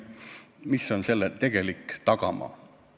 Mis on selle tegelik tagamaa?